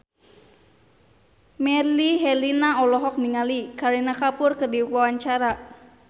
Melly Herlina olohok ningali Kareena Kapoor keur diwawancara